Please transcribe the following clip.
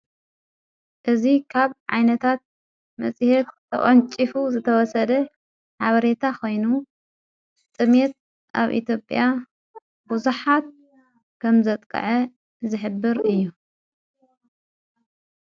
እዙ ኻብ ዓይነታት መጺሔት ተወንፂፉ ዝተወሰደ ሓበሬታ ኾይኑ ጥሜት ኣብ ኢቲጴያ ብዙኃት ከም ዘጥቃዐ ዝኅብር እዩ።